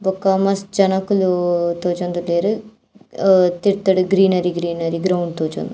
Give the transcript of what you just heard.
ಬೊಕ್ಕ ಮಸ್ತ್ ಜನೊಕುಲು ತೋಜೊಂದುಲ್ಲೆರ್ ಅಹ್ ತಿರ್ತುಡು ಗ್ರೀನರಿ ಗ್ರೀನರಿ ಗ್ರೌಂಡ್ ತೋಜುಂಡು.